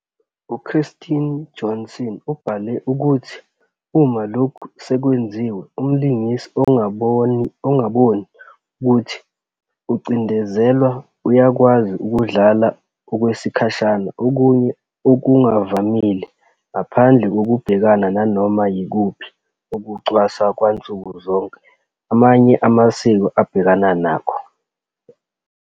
U-Kjerstin Johnson ubhale ukuthi, uma lokhu sekwenziwe, umlingisi, "ongaboni ukuthi ukucindezelwa uyakwazi 'ukudlala', okwesikhashana, okunye 'okungavamile', ngaphandle kokubhekana nanoma yikuphi ukucwaswa kwansuku zonke amanye amasiko abhekana nakho".